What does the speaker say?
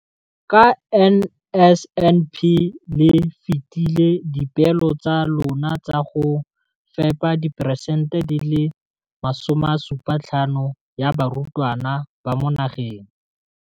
Ka NSNP le fetile dipeelo tsa lona tsa go fepa masome a supa le botlhano a diperesente ya barutwana ba mo nageng.